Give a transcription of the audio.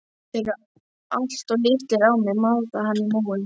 Þeir eru alltof litlir á mig, maldaði hann í móinn.